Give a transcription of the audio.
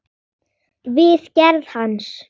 við gerð hans.